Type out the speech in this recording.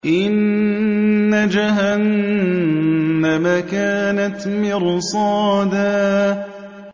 إِنَّ جَهَنَّمَ كَانَتْ مِرْصَادًا